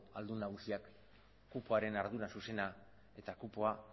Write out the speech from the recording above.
aldun nagusiak kupoaren ardura zuzena eta kupoa